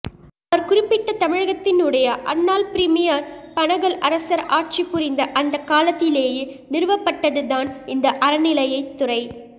அவர் குறிப்பிட்ட தமிழகத்தினுடைய அன்னாள் பிரிமியர் பனகல் அரசர் ஆட்சி புரிந்த அந்தக் காலத்திலேயே நிறுவப்பட்டதுதான் இந்த அறநிலையத் துறை